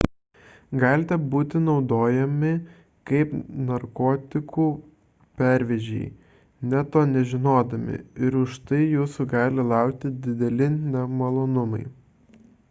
galite būti naudojami kaip narkotikų pervežėjai net to nežinodami ir už tai jūsų gali laukti dideli nemalonumai